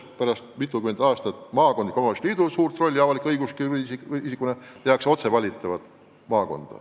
Pärast mitutkümmend aastat maakondliku omavalitsusliidu suurt rolli avalik-õigusliku isikuna tehakse nn otse valitavat maakonda.